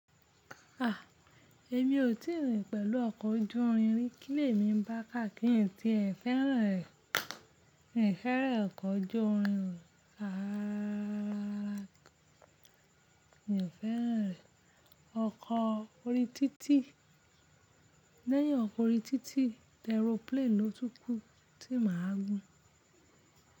A! Èmi ò tí rí i pẹ̀lú ọkọ̀ ojú irin rí kì í lè mí bàká kírì ein tíe fẹ́ràn fẹ̀ran okọ́ ojú irin rará. N fẹ́ràn rẹ̀ ọkọ̀ orí títì, lẹ́yìn ọkọ̀ orí títì, aeroplene ni ó tukú tí màá gún.